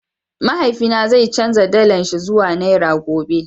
mahaifi na zai chanza dala shi ruwa nera gobe.